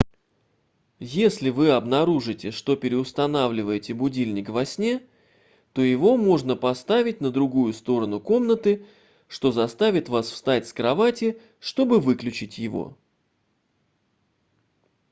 если вы обнаружите что переустанавливаете будильник во сне то его можно поставить на другую сторону комнаты что заставит вас встать с кровати чтобы выключить его